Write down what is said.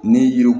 Ni yiriw